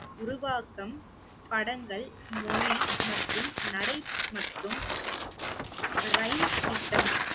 உருவாக்கம் படங்கள் மொழி மற்றும் நடை மற்றும் திட்டம்